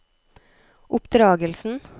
oppdragelsen